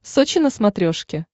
сочи на смотрешке